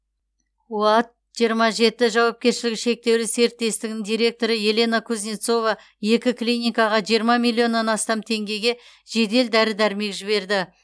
оад жиырма жеті жауапкершілігі шектеулі серіктестігінің директоры елена кузнецова екі клиникаға жиырма миллионнан астам теңгеге жедел дәрі дәрмек жіберді